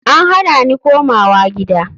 An hana ni komawa gida.